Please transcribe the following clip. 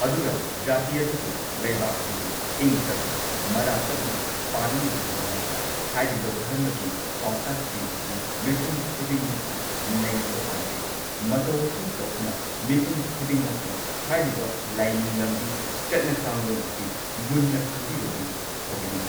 ꯑꯗꯨꯒ ꯖꯥꯇꯤ ꯑꯗꯨꯕꯨ ꯂꯩꯕꯥꯛ ꯑꯗꯨꯕꯨ ꯏꯪ ꯇꯞꯅ ꯃꯔꯥ ꯇꯞꯅ ꯄꯥꯟꯅꯅꯕꯒꯤꯗꯃꯛꯇ ꯍꯥꯏꯔꯤꯕ ꯙꯔꯃꯒꯤ ꯄꯥꯎꯇꯥꯛꯁꯤꯡ ꯑꯁꯤ ꯃꯤꯄꯨꯝ ꯈꯨꯗꯤꯡꯃꯛꯅ ꯅꯩꯅꯕ ꯄꯥꯝꯖꯩ ꯃꯇꯧ ꯑꯁꯨꯝ ꯇꯧꯗꯨꯅ ꯃꯤꯄꯨꯝ ꯈꯨꯗꯤꯡꯃꯛꯅ ꯍꯥꯏꯔꯤꯕ ꯂꯥꯏꯅꯤꯡ ꯂꯝꯕꯤ ꯆꯠꯅ ꯀꯥꯡꯂꯣꯟ ꯑꯁꯤ ꯃꯨꯟꯅ ꯈꯪꯕꯤꯔꯗꯤ ꯐꯒꯅꯤ꯫